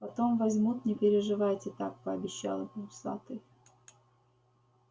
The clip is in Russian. потом возьмут не переживайте так пообещал ему усатый